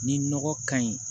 Ni nɔgɔ ka ɲi